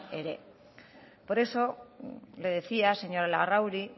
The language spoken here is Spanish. ere por eso le decía señora larrauri